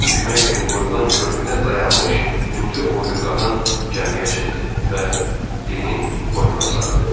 Gəmidən düşmək üçün qoyulan körpüdə dayanmış hündür boylu qadın gəmiyə çıxdı və Dennin boynuna sarıldı.